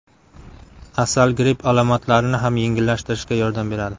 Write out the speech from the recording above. Asal gripp alomatlarini ham yengillashtirishga yordam beradi.